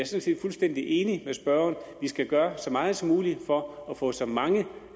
set fuldstændig enig med spørgeren vi skal gøre så meget som muligt for at få så mange